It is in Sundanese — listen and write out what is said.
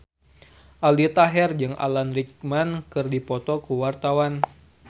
Aldi Taher jeung Alan Rickman keur dipoto ku wartawan